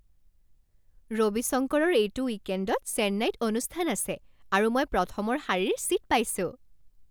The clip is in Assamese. ৰবি শংকৰৰ এইটো উইকেণ্ডত চেন্নাইত অনুষ্ঠান আছে আৰু মই প্ৰথমৰ শাৰীৰ ছীট পাইছোঁ!